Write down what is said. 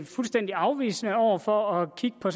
fuldstændig afvisende over for at kigge på